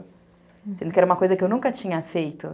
Sendo que era uma coisa que eu nunca tinha feito.